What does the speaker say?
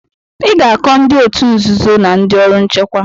Ị ga-akọ ndị òtù nzuzo na ndị ọrụ nchekwa.